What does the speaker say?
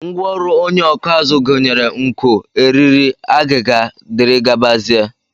Ngwaọrụ onye ọkụ azụ gụnyere nkọ, eriri, agịga, dgz